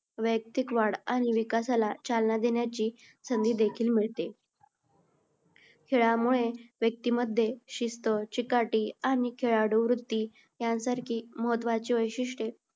व्ययक्तिक वाढ आणि विकासाला चालना देण्याची संधी देखील मिळते. खेळामुळे व्यक्तिमध्ये शिस्त, चिकाटी आणि खेळाडूवृत्ती यांसारखी महत्त्वाची वैशिष्ट्ये